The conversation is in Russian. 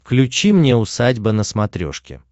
включи мне усадьба на смотрешке